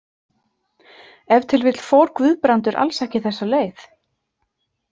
Ef til vill fór Guðbrandur alls ekki þessa leið.